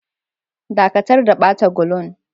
Dakatar da bata gulun!